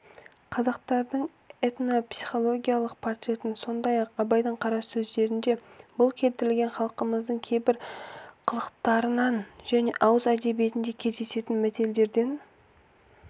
қазақтардың этнопсихологиялық портретін сондай-ақ абайдың қара сөздерінде бұл келтірілген халқымыздың кейбір қылықтарынан және ауыз әдебиетінде кездесетін мәтелдерден